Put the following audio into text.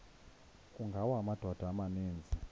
kungawa amadoda amaninzi